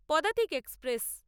Padatik express